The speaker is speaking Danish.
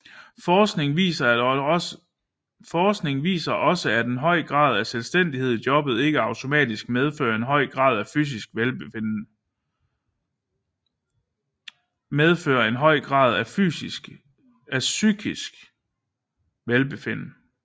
Forskning viser også at en høj grad af selvstændighed i jobbet ikke automatisk medfører en høj grad af psykisk velbefinden